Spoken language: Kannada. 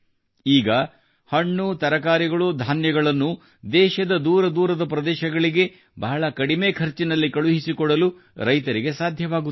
ಈಗ ಹಣ್ಣು ತರಕಾರಿಗಳು ಬೇಳೆಕಾಳುಗಳನ್ನು ದೇಶದ ದೂರದೂರದ ಪ್ರದೇಶಗಳಿಗೆ ಬಹಳ ಕಡಿಮೆ ಖರ್ಚಿನಲ್ಲಿ ಕಳುಹಿಸಿಕೊಡಲು ರೈತರಿಗೆ ಸಾಧ್ಯವಾಗುತ್ತಿದೆ